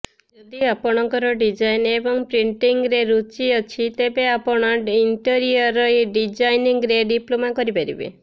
ଯଦି ଆପଣଙ୍କର ଡିଜାଇନ୍ ଏବଂ ପ୍ରିଣ୍ଟିଂରେ ରୁଚି ଅଛି ତେବେ ଆପଣ ଇଣ୍ଟେରିୟର ଡିଜାଇନିଂରେ ଡିପ୍ଲୋମା କରିପାରିବେ